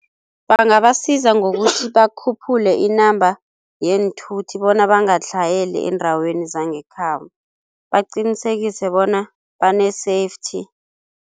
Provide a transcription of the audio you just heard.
Bangabasiza ngokuthi bakhuphule inamba yeenthuthi bona bangatlhayeli eendaweni zangekhabo, baqinisekise bona bane-safety.